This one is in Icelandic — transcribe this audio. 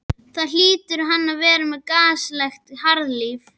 Þá hlýtur hann að vera með gasalegt harðlífi.